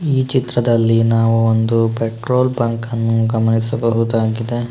ಈ ಚಿತ್ರದಲ್ಲಿ ನಾವು ಒಂದು ಪೆಟ್ರೋಲ್ ಬಂಕ್ ನ್ನು ಗಮನಿಸಬಹುದಾಗಿದೆ.